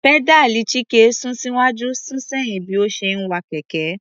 Pẹ́dáàlì Chike sún síwájú sún sẹ́yìn bí ó ṣe ń wa kẹ̀kẹ́.